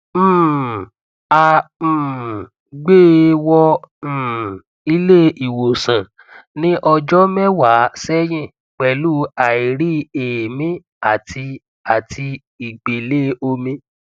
um a um gbé e wọ um ilé ìwòsàn ní ọjọ mẹwàá sẹyìn pẹlú airi eemi àti àti ìgbélé omi